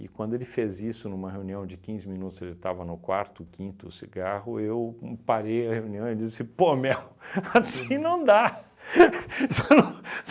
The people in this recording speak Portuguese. E quando ele fez isso numa reunião de quinze minutos, ele estava no quarto, quinto, o cigarro, eu parei a reunião e disse, pô meu, assim não dá.